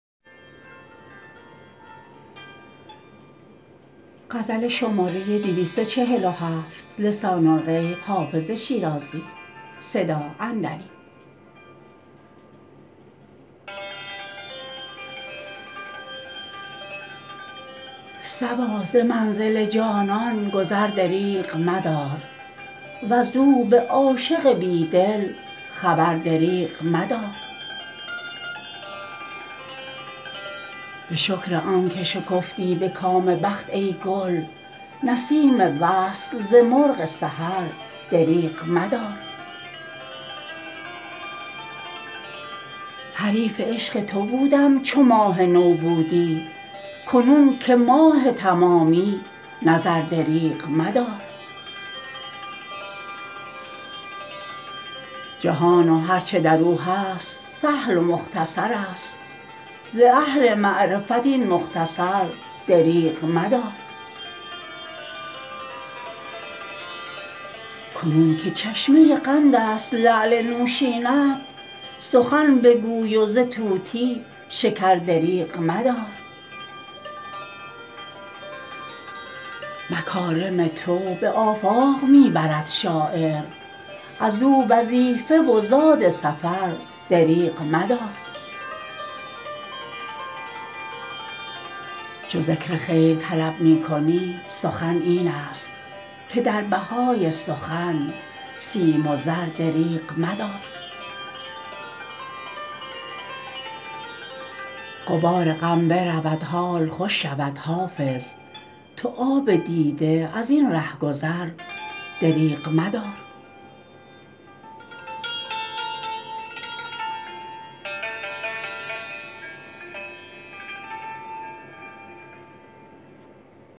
صبا ز منزل جانان گذر دریغ مدار وز او به عاشق بی دل خبر دریغ مدار به شکر آن که شکفتی به کام بخت ای گل نسیم وصل ز مرغ سحر دریغ مدار حریف عشق تو بودم چو ماه نو بودی کنون که ماه تمامی نظر دریغ مدار جهان و هر چه در او هست سهل و مختصر است ز اهل معرفت این مختصر دریغ مدار کنون که چشمه قند است لعل نوشین ات سخن بگوی و ز طوطی شکر دریغ مدار مکارم تو به آفاق می برد شاعر از او وظیفه و زاد سفر دریغ مدار چو ذکر خیر طلب می کنی سخن این است که در بهای سخن سیم و زر دریغ مدار غبار غم برود حال خوش شود حافظ تو آب دیده از این ره گذر دریغ مدار